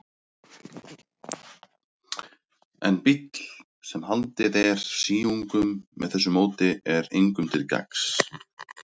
En bíll, sem haldið er síungum með þessu móti, er engum til gagns.